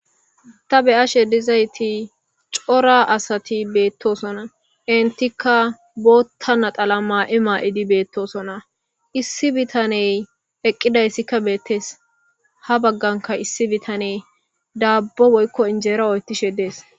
Ta beyashe dizayti cora asati beetosona entika bootha naxala mayo mayidi beetosona issi bitaney eqidaysika betees. Ha baganka issi bitaney daabo woyko injera oykishe de'es.